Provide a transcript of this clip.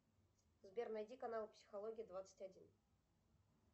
сбер найди каналы психология двадцать один